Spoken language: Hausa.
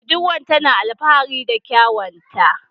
Budurwan tana alfahari da kyawunta.